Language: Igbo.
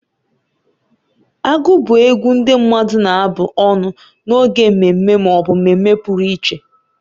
Agụ bụ egwu ndị mmadụ na-abụ ọnụ n'oge mmemme ma ọ bụ mmemme pụrụ iche.